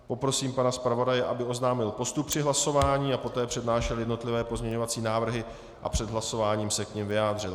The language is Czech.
Poprosím pana zpravodaje, aby oznámil postup při hlasování a poté přednášel jednotlivé pozměňovací návrhy a před hlasováním se k nim vyjádřil.